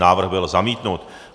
Návrh byl zamítnut.